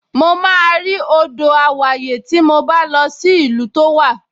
Mo máa rí odò àwáyè tí mo bá lọ sí ìlú tó wà